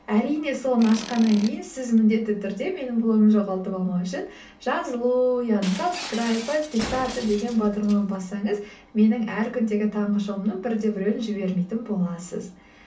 әрине соны ашқаннан кейін сіз міндетті түрде менің блогымды жоғалтып алмау үшін жазылу яғни сабскрайб подписаться деген батырманы бассаңыз менің әр күндегі таңғы шоуымның бір де біреуін жібермейтін боласыз